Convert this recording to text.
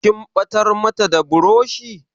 Kin ɓatar mata da burushi?